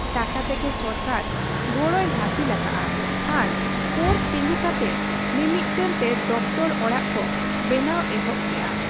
ᱴᱟᱠᱟ ᱛᱮᱜᱮ ᱥᱚᱨᱠᱟᱨ ᱜᱚᱲᱚᱭ ᱦᱟᱹᱥᱤᱞ ᱟᱠᱟᱜ ᱟ ᱟᱨ ᱯᱷᱚᱨᱥ ᱛᱤᱸᱜᱩ ᱠᱟᱛᱮ ᱢᱤ ᱢᱤᱫᱴᱟᱹᱝ ᱛᱮ ᱫᱚᱯᱛᱚᱨ ᱚᱲᱟᱜ ᱠᱚ ᱵᱮᱱᱟᱣ ᱮᱦᱚᱵ ᱠᱮᱜ ᱟ ᱾